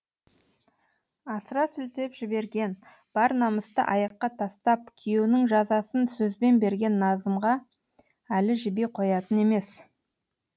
асыра сілтеп жіберген бар намысты аяққа тастап күйеуінің жазасын сөзбен берген назымға әлі жіби қоятын емес